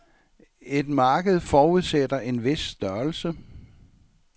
Et marked forudsætter en vis størrelse.